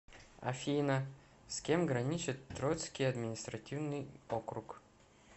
афина с кем граничит троицкий административный округ